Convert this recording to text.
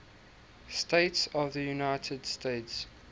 states of the united states